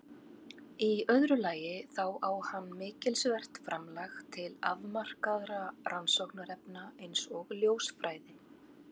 Í öðru lagi þá á hann mikilsvert framlag til afmarkaðra rannsóknarefna eins og ljósfræði.